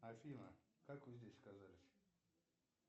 афина как вы здесь оказались